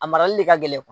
A marali de ka gɛlɛn